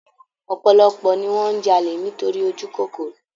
Ọ̀pọ̀lọpọ̀ ni wọn n jalè nítorí ojúkòkòrò